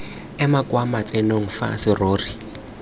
eme kwa matsenong fa serori